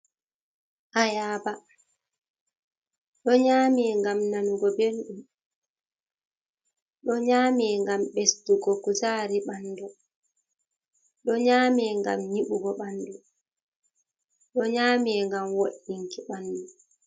Ayaba, ɗo nyaame ngam nanugo belɗum, ɗo nyaame ngam ɓesdugo kujaari ɓanndu, ɗo nyaame ngam nyiɓugo ɓanndu, ɗo nyaame ngam wo''itinki ɓanndu.